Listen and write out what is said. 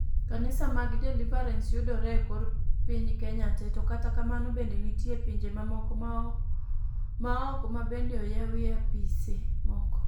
Kanisni mag Deliverance yudore e kor piny Kenya te. To kata kamano bende nitie pinje mamoko maoko mabende oyawie apise moko